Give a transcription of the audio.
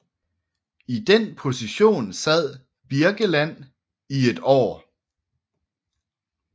I den position sad Birkeland i et år